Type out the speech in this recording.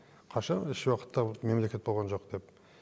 қашан еш уақытта мемлекет болған жоқ деп